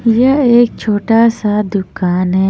यह एक छोटा सा दुकान है।